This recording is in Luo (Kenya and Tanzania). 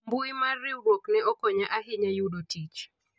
mbui mar riwruok ne okonya ahinya yudo tich